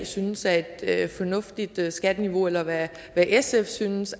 synes er et et fornuftigt skatteniveau eller hvad sf synes